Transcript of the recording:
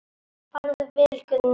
Farðu vel, Gunný mín.